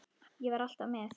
Ég var alltaf með.